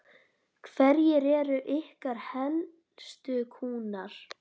Hverjir eru ykkar helstu kúnnar?